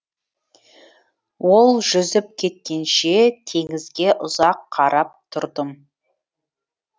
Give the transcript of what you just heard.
ол жүзіп кеткенше теңізге ұзақ қарап тұрдым